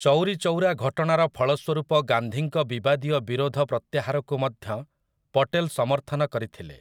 ଚୌରି ଚୌରା ଘଟଣାର ଫଳସ୍ୱରୂପ ଗାନ୍ଧୀଙ୍କ ବିବାଦୀୟ ବିରୋଧ ପ୍ରତ୍ୟାହାରକୁ ମଧ୍ୟ ପଟେଲ୍ ସମର୍ଥନ କରିଥିଲେ ।